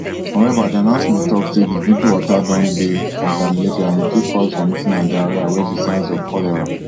however di announcement tok say di drinking water don dey contaminated and e fit cause vomiting and diarrhoea wey be signs of cholera